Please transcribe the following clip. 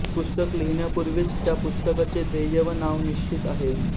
पुस्तक लिहिण्यापूर्वीच त्या पुस्तकाचे ध्येय व नाव निश्चित आहे